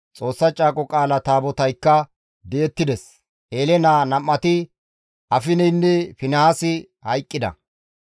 Xoossa Caaqo Qaala Taabotaykka di7ettides; Eele naa nam7ati Afineynne Finihaasi hayqqida.